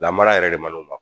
Lamara yɛrɛ de ma